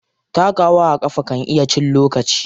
Takawa a ƙafa kan iya cin lokaci.